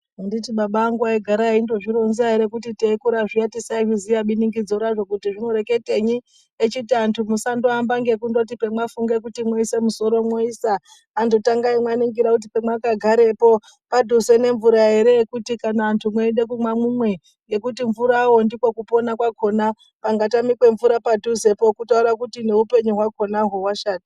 Anditi baba angu aigara eindozvironza here kuti teikura zviya tisazviziva biningidzo raro kuti zvinoreketenyi, echiti antu musandoamba ngekundoti pemwafunga kuti muise musoro mwoisa, antu tangai maningira kuti pamwakagarepo padhuze nemvura here yekuti kana antu mweida kumwa mumwe ngekuti mvurawo ndiko kupona kwakona pangatamika mvura padhuzepo kutaure kuti neupenyu hwakonahwo hwashata.